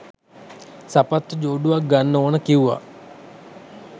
සපත්තු ජෝඩුවක් ගන්න ඕන කිව්ව.